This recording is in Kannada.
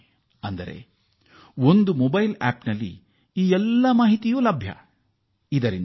ಈ ಎಲ್ಲ ಮಾಹಿತಿಗಳೂ ಮೊಬೈಲ್ ಆಪ್ ಒಂದರಿಂದ ಲಭ್ಯವಾಗುತ್ತವೆ